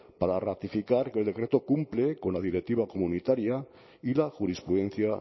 para ratificar que el decreto cumple con la directiva comunitaria y la jurisprudencia